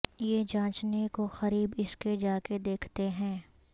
یہ جانچنے کو قریب اس کے جا کے دیکھتے ہیں